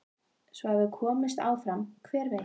Svo ef við komumst áfram hver veit?